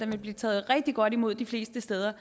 vil blive taget rigtig godt imod de fleste steder